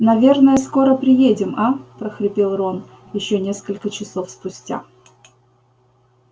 наверное скоро приедем а прохрипел рон ещё несколько часов спустя